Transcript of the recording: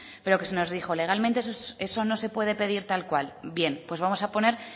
pero que se nos dijo legalmente eso no se puede pedir tal cual bien pues vamos a poner